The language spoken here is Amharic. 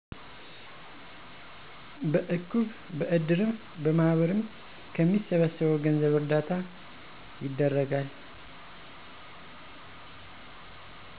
በእቁብ፣ በእድርም፣ በማህበርም ከሚሰበሰበው ገንዘብ እርዳታ ይደረጋል።